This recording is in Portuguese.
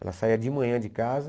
Ela saía de manhã de casa.